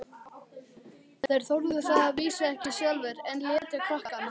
Þeir þorðu það að vísu ekki sjálfir, en létu krakkana.